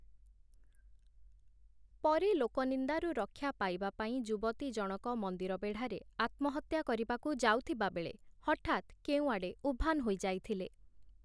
ପରେ ଲୋକନିନ୍ଦାରୁ ରକ୍ଷା ପାଇବାପାଇଁ ଯୁବତୀ ଜଣକ ମନ୍ଦିର ବେଢ଼ାରେ ଆତ୍ମହତ୍ୟା କରିବାକୁ ଯାଉଥିବାବେଳେ ହଠାତ୍ କେଉଁଆଡେ ଉଭାନ୍ ହୋଇଯାଇଥିଲେ ।